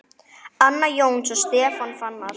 Anna Jóns og Stefán Fannar.